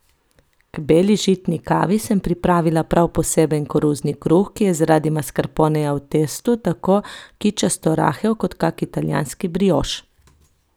K beli žitni kavi sem pripravila prav poseben koruzni kruh, ki je zaradi maskarponeja v testu tako kičasto rahel kot kak italijanski brioš.